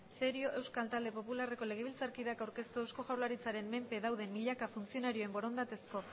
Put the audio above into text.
cerio euskal talde popularreko legebiltzarkideak aurkeztua eusko jaurlaritzaren menpe dauden milaka funtzionarioen borondatezko